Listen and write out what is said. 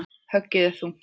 Höggið er þungt.